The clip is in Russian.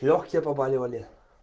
лёгкие побаливали